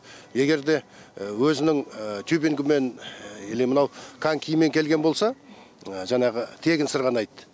егерде өзінің тюбингімен или мынау конькиімен келген болса жаңағы тегін сырғанайды